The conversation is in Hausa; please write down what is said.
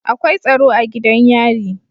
Akwai tsaro a gidan yari